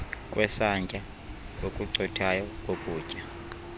kwesantya okucothayo kokutya